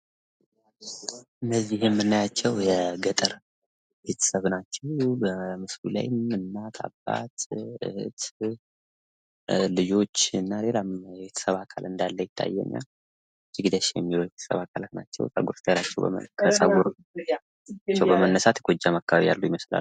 እነዚህ የምናያቸው የገጠር ቤተሰብ አባላት ናቸው። እናት፣ አባት እና ልጆች ይታያሉ። ከጸጉራቸው በመነሳት የጎጃም አካባቢ ሰዎች ይመስላሉ።